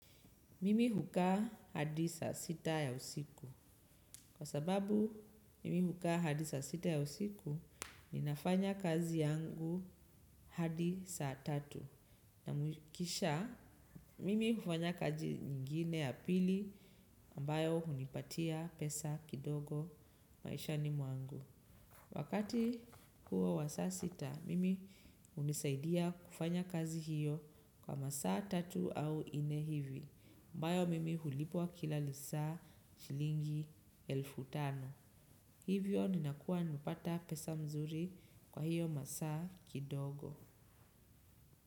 Mimi hukaa hadi saa sita ya usiku. Kwa sababu, mimi hukaa hadi saa sita ya usiku, ninafanya kazi yangu hadi saa tatu. Na kisha, mimi hufanya kazi nyingine ya pili, ambayo hunipatia pesa kidogo maishani mwangu. Wakati huo wa saa sita, mimi hunisaidia kufanya kazi hiyo kwa masaa tatu au nne hivi, ambayo mimi hulipwa kila lisaa shilingi elfu tano. Hivyo ninakua nimepata pesa mzuri kwa hiyo masaa kidogo.